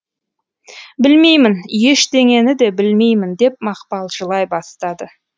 білмеймін ештеңені де білмеймін деп мақпал жылай бастады